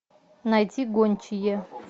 найти гончие